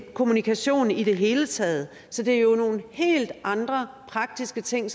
kommunikation i det hele taget så det er jo nogle helt andre praktiske ting